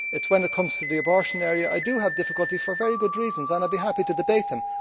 it is when it comes to the abortion area I have difficulty for very good reasons and I would be happy to debate them.